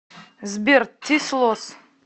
сбер тис лосс